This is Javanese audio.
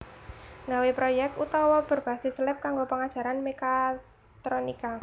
Gawe projek otawa berbasis lab kanggo pengajaran mekatronika